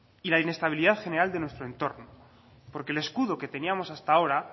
y la inestabilidad general de nuestro entorno porque el escudo que teníamos hasta ahora